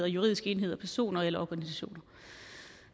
juridiske enheder personer eller organisationer